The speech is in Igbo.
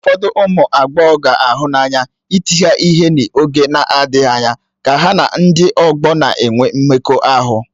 Ụfọdụ ụmụ agbọghọ ga-ahụ n'anya ịti ha ihe n'oge na-adịghị anya ka ha na ụdị ọgbọ a na-enwe mmekọahụ.